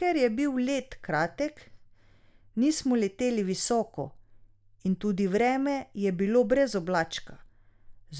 Ker je bil let kratek, nismo leteli visoko in tudi vreme je bilo brez oblačka,